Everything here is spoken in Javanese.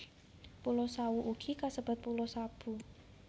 Pulo Sawu ugi kasebat Pulo Sabu